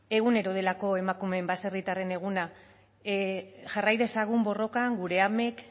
egunero delako emakume baserritarren eguna jarrai dezagun borrokan gure amek